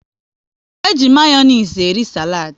E ji Mayonezi eri saladi